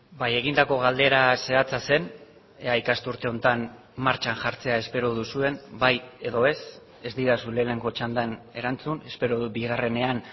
bai egindako galdera zehatza zen ea ikasturte honetan martxan jartzea espero duzuen bai edo ez ez didazu lehenengo txandan erantzun espero dut bigarrenean